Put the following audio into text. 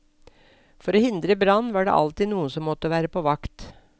For å hindre brann var det alltid noen som måtte være på vakt.